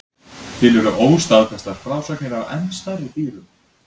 Til eru óstaðfestar frásagnir af enn stærri dýrum.